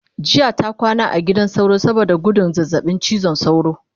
jiya ta kwana a gidan sauro Dan gudun zazzaɓin cizon sauro